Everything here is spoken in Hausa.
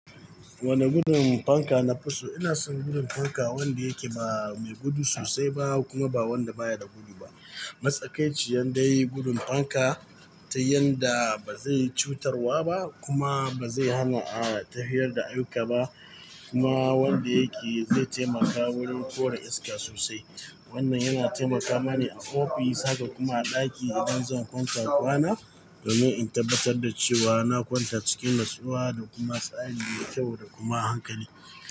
Wane gudun fanka nafi so? Ina son gudun fanka wanda yake ba mai gudu sosai ba kuma ba wanda baya da gudu ba. Matsakaici yandai gudun fanka ta yanda bazai yi cutarwa ba kuma bazai hana a tafiyar da aiyuka ba kuma wanda yake zai taimaka wurin kore iska sosai. Wannan yana taimaka mani a ofis haka kuma a ɗaki idan zan kwanta kwana domin in tabbatar da cewa na kwanta cikin natsuwa da kuma tsari mai kyau da kuma hankali.